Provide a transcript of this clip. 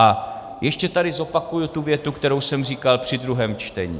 A ještě tady zopakuji tu větu, kterou jsem říkal při druhém čtení.